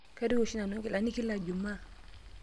Kaituku oshi nanu ngilani kila jumaa.